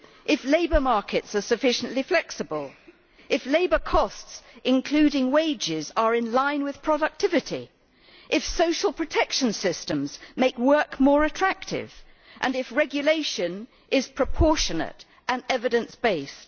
if labour markets are sufficiently flexible, if labour costs, including wages, are in line with productivity, if social protection systems make work more attractive, and if regulation is proportionate and evidence based.